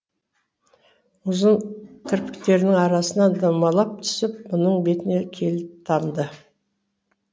ұзын кірпіктерінің арасынан домалап түсіп мұның бетіне келіп тамды